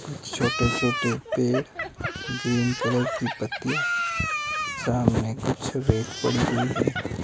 छोटे छोटे पेड़ ग्रीन कलर की पत्तियां सामने कुछ रेत पड़ी हुई है।